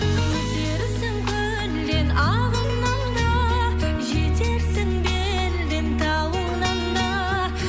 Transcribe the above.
өтерсің көлден ағыннан да жетерсің белден тауыңнан да